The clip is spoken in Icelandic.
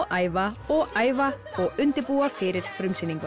æfa og æfa og undirbúa fyrir frumsýninguna